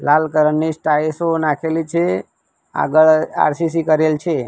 લાલ colour ની સ્ટાઇસો નાખેલી આગળ આર_સી_સી કરેલ છે.